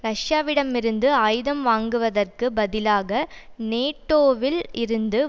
ரஷ்யாவிடம் இருந்து ஆயுதம் வாங்குவதற்கு பதிலாக நேட்டோவில் இருந்து